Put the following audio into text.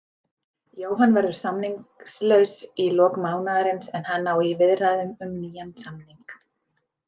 Jóhann verður samningslaus í lok mánaðarins en hann á í viðræðum um nýjan samning.